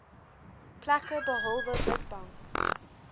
plekke behalwe witbank